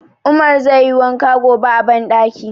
Umar zai yi wanka gobe a banɗaki.